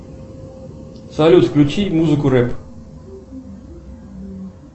салют включи музыку рэп